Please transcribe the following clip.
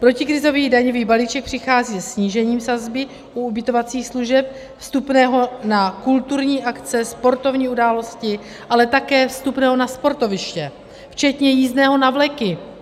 Protikrizový daňový balíček přichází se snížením sazby u ubytovacích služeb, vstupného na kulturní akce, sportovní události, ale také vstupného na sportoviště včetně jízdného na vleky.